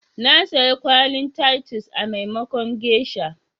Na saya kwallin titusi,a maimakon geisha.